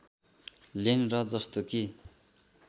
lane र जस्तो कि